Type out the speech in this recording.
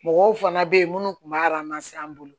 Mɔgɔw fana bɛ yen minnu tun b'a an bolo